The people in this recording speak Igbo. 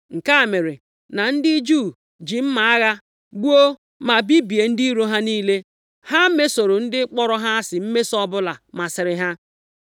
Nke a mere, na ndị Juu ji mma agha gbuo, ma bibie ndị iro ha niile. Ha mesoro ndị kpọrọ ha asị mmeso ọbụla masịrị ha.